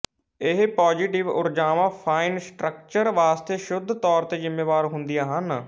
ਇਹ ਪੌਜ਼ਟਿਵ ਊੇਰਜਾਵਾਂ fine structure ਵਾਸਤੇ ਸ਼ੁੱਧ ਤੌਰ ਤੇ ਜ਼ਿੰਮੇਵਾਰ ਹੁੰਦੀਆਂ ਹਨ